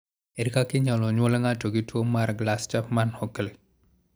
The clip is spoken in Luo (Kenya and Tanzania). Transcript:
Ere kaka inyalo nyuol ngato gi tuwo mar Glass Chapman Hockley?